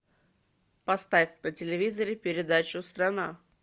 поставь на телевизоре передачу страна